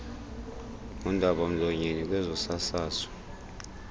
ngundaba mlonyeni kwezosasazo